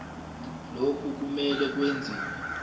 lokhu kumele kwenziwe